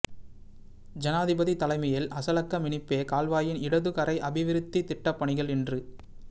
ஜனாதிபதி தலைமையில் ஹஸலக்க மினிப்பே கால்வாயின் இடதுகரை அபிவிருத்தித் திட்டப்பணிகள் இன்று